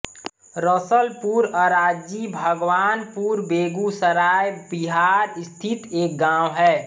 रसलपुर अराजी भगवानपुर बेगूसराय बिहार स्थित एक गाँव है